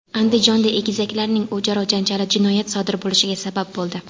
Andijonda egizaklarning o‘zaro janjali jinoyat sodir bo‘lishiga sabab bo‘ldi.